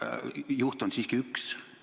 Selles on ju oma paatos, aga juht on siiski üks.